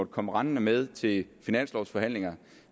komme rendende med til finanslovforhandlingerne